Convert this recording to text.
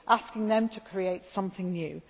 across Brussels asking them to create